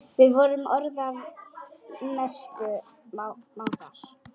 Við vorum orðnar mestu mátar.